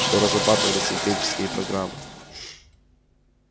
что разрабатывались евгенические программы